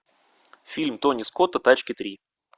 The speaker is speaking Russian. фильм тони скотта тачки три